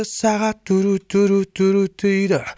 сағат дурут дурут дурут дейді